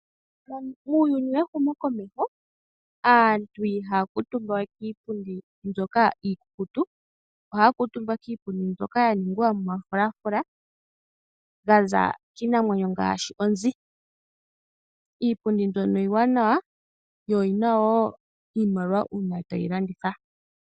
Uuyuni wehumokomeho aantu ihaya kuutumba we kiipundi mbyoka iikukutu. Ohaya kuutumba kiipundi mbyoka ya ningwa momafulafula ga za kiinamwenyo ngaashi oonzi . Iipundi mbyono iiwanawa yo oyi na wo iimaliwa uuna tayi landithwa.